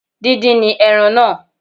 Díndín ni ẹran náà